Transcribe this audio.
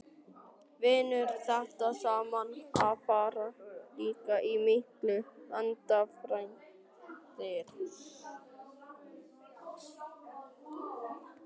Vinnur þetta saman, að fara líka í þessa miklu vegaframkvæmdir?